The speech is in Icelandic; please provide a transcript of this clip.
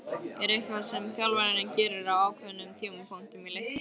Er eitthvað sem þjálfarinn gerir á ákveðnum tímapunktum í leiknum?